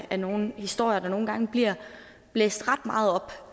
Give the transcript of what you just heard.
af nogle historier der nogle gange bliver blæst ret meget op